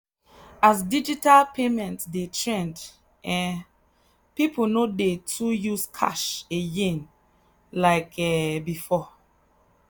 as digital payment dey trend um people no too dey use cash again like um before.